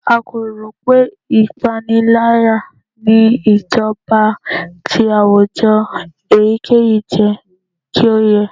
A ko ro pe ipanilaya ni ijọba ti awujọ eyikeyi jẹ ki o yẹ